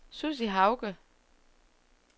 Sussi Hauge